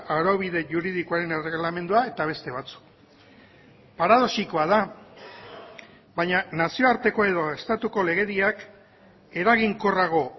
araubide juridikoaren erregelamendua eta beste batzuk paradoxikoa da baina nazioarteko edo estatuko legediak eraginkorrago